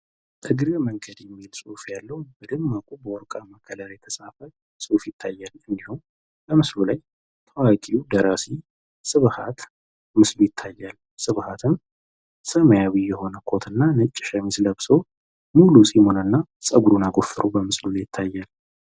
"እግረ መንገድ" የሚል ፅሁፍ ያለዉ በደማቁ በወርቃማ ከለር የተፃፈ ፅሁፍ ይታያል። እንዲሁም በምስሉ ላይ ታዋቂዉ ደራሲ ስብሃት ምስሉ ይታያል። ስብሃትም ሰማያዊ የሆነ ኮት እና ነጭ ሸሚዝ አድርጎ ሙሉ ፀጉሩን እና ፂሙን አጎፍሮ ይታያል።